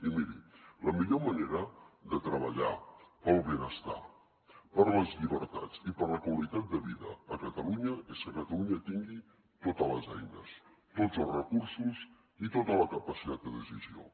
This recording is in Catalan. i miri la millor manera de treballar pel benestar per les llibertats i per la qualitat de vida a catalunya és que catalunya tingui totes les eines tots els recursos i tota la capacitat de decisió